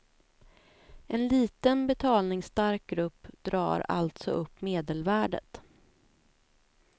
En liten, betalningsstark grupp drar alltså upp medelvärdet.